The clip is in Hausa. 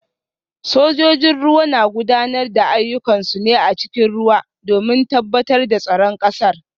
Sojojin ruwa na gudanar da ayyukansu ne a cikin ruwa domin tabbatar da tsaron kasar